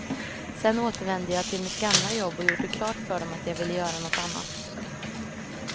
Sedan återvände jag till mitt gamla jobb och gjorde klart för dem att jag ville göra något annat.